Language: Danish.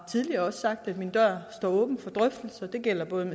tidligere sagt at min dør står åben for drøftelser det gælder